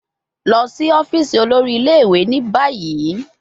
Lọ si ọfiisi olori ile-iwe ni bayi